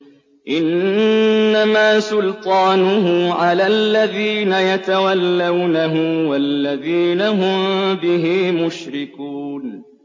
إِنَّمَا سُلْطَانُهُ عَلَى الَّذِينَ يَتَوَلَّوْنَهُ وَالَّذِينَ هُم بِهِ مُشْرِكُونَ